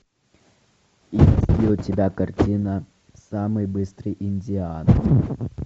есть ли у тебя картина самый быстрый индиан